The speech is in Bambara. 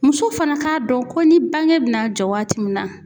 Muso fana ka dɔn ko ni bange bi na jɔ waati min na